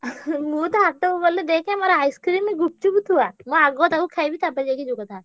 ମୁଁ ତ ହାଟକୁ ଗଲେ ଦେଖେ ମୋର ice cream ଗୁପ୍ଚୁପ ଥୁଆ। ମୁଁ ଆଗ ତାକୁ ଖାଇବି ତାପରେ ଯାଇକି ଯୋଉ କଥା।